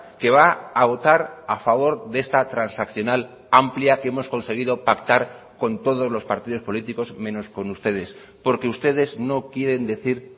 que va a votar a favor de esta transaccional amplia que hemos conseguido pactar con todos los partidos políticos menos con ustedes porque ustedes no quieren decir